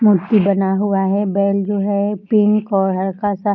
मूर्ति बना हुआ है बैल जो है पिंक और हल्का सा --